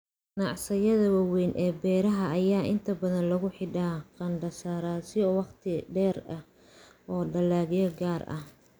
Ganacsiyada waaweyn ee beeraha ayaa inta badan lagu xidhaa qandaraasyo wakhti dheer ah oo dalagyo gaar ah.